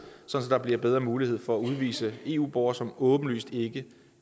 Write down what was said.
så der bliver bedre mulighed for at udvise eu borgere som åbenlyst ikke